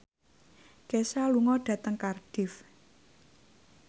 Kesha lunga dhateng Cardiff